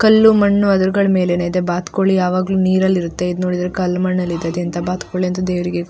ಕಲ್ಲು ಮಣ್ಣು ಅದರ್ಗಳ ಮೇಲೇನೆ ಇದೆ ಬಾತ್ ಕೋಳಿ ಯಾವಾಗ್ಲೂ ನೀರಲ್ಲಿರತ್ತೆ ಇದು ನೋಡಿದ್ರೆ ಕಲ್ಲು ಮಣ್ಣಲ್ಲಿ ಇದೆ ಇಂಥ ಬಾತ್ಕೋಳಿ ಅಂತಂದ್ ದೇವ್ರಿಗೇ.